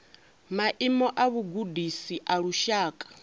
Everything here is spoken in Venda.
maimo a vhugudisi a lushaka